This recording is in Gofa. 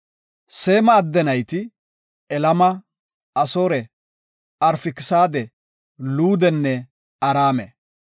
Seema adde nayti, Elama, Asoore, Arfakisaade, Luudenne Araame.